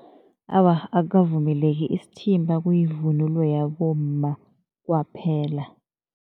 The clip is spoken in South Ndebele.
Awa, akukavumeleki. Isithimba kuyivunulo yabomma kwaphela.